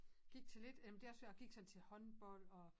Gik til lidt jamen det også for jeg gik sådan til håndbold og